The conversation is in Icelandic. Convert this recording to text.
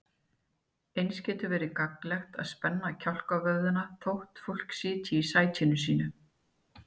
Einnig getur verið gagnlegt að spenna kálfavöðvana þótt fólk sitji í sætinu sínu.